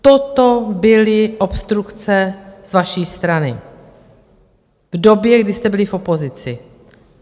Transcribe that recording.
Toto byly obstrukce z vaší strany v době, kdy jste byli v opozici.